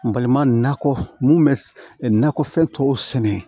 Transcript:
N balima nakɔ mun bɛ nakɔfɛn tɔw sɛnɛ